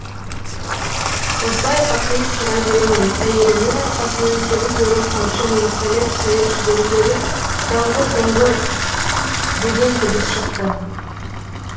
осылай қақиып тұра беремін әйелімнің арқасынан сегіз өрім қамшымен салеп салеп жіберіп едім даңғұр дұңғыр деген дыбыс шықты